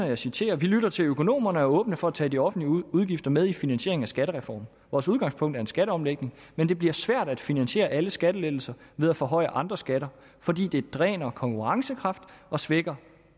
jeg citerer vi lytter til økonomerne og er åbne for at tage de offentlige udgifter med i finansieringen af skattereformen vores udgangspunkt er en skatteomlægning men det bliver svært at finansiere alle skattelettelser ved at forhøje andre skatter fordi det dræner konkurrencekraft og svækker